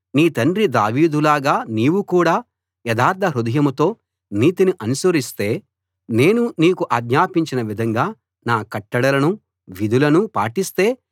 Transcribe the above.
నీ తండ్రి దావీదులాగా నీవు కూడా యథార్థ హృదయంతో నీతిని అనుసరిస్తే నేను నీకు ఆజ్ఞాపించిన విధంగా నా కట్టడలనూ విధులనూ పాటిస్తే